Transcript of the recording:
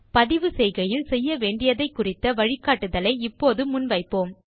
பதிவு செய்கையில் செய்யவேண்டியதைக் குறித்த வழிக்காட்டுதலை இப்போது முன் வைப்போம்